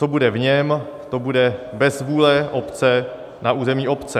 Co bude v něm, to bude bez vůle obce na území obce.